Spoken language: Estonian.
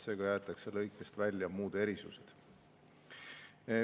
Seega jäetakse lõikest välja muud erisused.